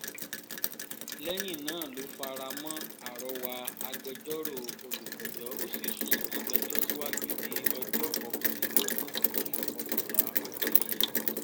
lẹ́yìn náà ló fara mọ́ àrọwà agbẹjọ́rò olùpẹ̀jọ́ ó sì sún ìgbẹ́jọ́ síwájú di ọjọ́ kọkànlélógún oṣù kọkànlá ọdún yìí